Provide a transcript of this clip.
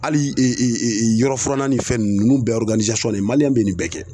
Hali yɔrɔ furanna ni fɛn ninnu ninnu bɛɛ maliyɛn bɛ nin bɛɛ kɛ.